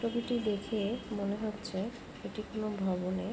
ছবিটি দেখে মনে হচ্ছে এটি কোন ভবনের।